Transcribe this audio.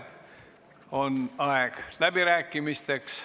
On aeg läbirääkimisteks.